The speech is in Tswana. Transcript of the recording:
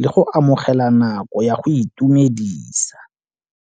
le go amogela nako ya go itumedisa.